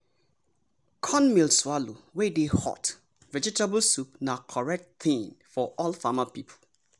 cornmeal swallow wey dey hot vegetable soup na correct thing for old farmer people.